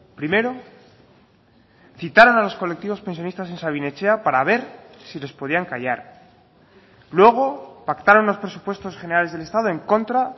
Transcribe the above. primero citaron a los colectivos pensionistas en sabin etxea para ver si les podían callar luego pactaron los presupuestos generales del estado en contra